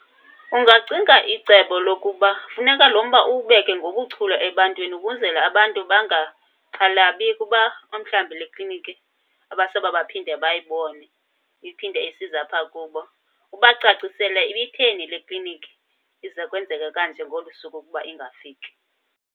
Ungacinga icebo lokuba funeka lo mba uwubeke ngobuchule ebantwini ukwenzela abantu bangaxhalabi ukuba umhlawumbi le ekliniki abasobe baphinde bayibone, iphinde isiza apha kubo. Ubacacisele ibitheni le ekliniki ize kwenzeke kanje ngolu suku ukuba ingafiki.